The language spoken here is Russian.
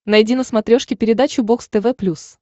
найди на смотрешке передачу бокс тв плюс